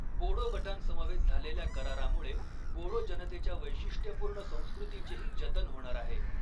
बोडो गटांसमवेत झालेल्या करारामुळे बोडो जनतेच्या वैशिष्ट्यपूर्ण संस्कृतीचेही जतन होणार आहे.